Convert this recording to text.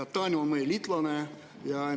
Taani on meie liitlane.